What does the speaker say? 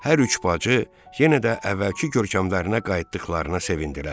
Hər üç bacı yenə də əvvəlki görkəmlərinə qayıtdıqlarına sevindilər.